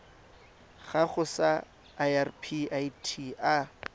gago sa irp it a